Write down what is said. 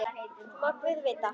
Það má guð vita.